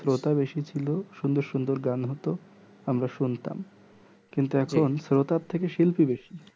শ্রোতা বেশি ছিলো সুন্দর সুন্দর গান হতো আমরা শুনতাম কিন্তু এখন শ্রোতার থেকে শিল্পী অনেকে বেশি